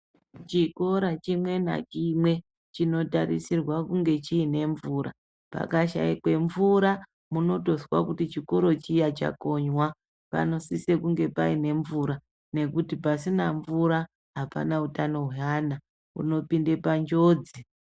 Chikora chime nachimwe chinotarisirwa kunge chine mvura pakashaikwe mvura muzlnotozwa kuti chikora Chiya chakonywa panosisa kunge paine mvura nekuti pasina mvura apana hutano hwevana unopinda panjodzi.